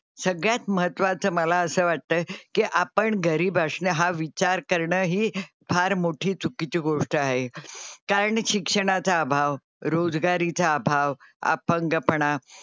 सगळ्यात महत्त्वाचं मला असं वाटतं की आपण गरीब असणं हा विचार करणं ही फार मोठी चुकीची गोष्ट आहे. कारण शिक्षणाचा अभाव, रोजगारीचा अभाव, अपंगपणा,